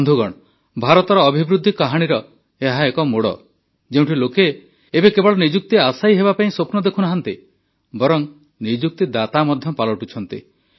ବନ୍ଧୁଗଣ ଭାରତର ଅଭିବୃଦ୍ଧି କାହାଣୀର ଏହା ଏକ ମୋଡ଼ ଯେଉଁଠି ଲୋକେ ଏବେ କେବଳ ନିଯୁକ୍ତି ଆଶାୟୀ ହେବାପାଇଁ ସ୍ୱପ୍ନ ଦେଖୁନାହାନ୍ତି ବରଂ ନିଯୁକ୍ତିଦାତା ମଧ୍ୟ ପାଲଟୁଛନ୍ତି